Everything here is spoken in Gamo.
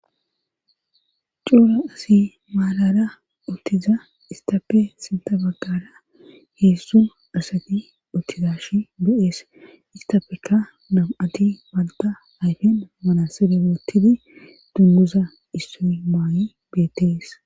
cora asi maarara uttiza istappe sintha baggara heedzdzu asati uttizashi be7ees istafeka nam7ati malta ayfen manasibe boottidi dummuza issoy maayi beetees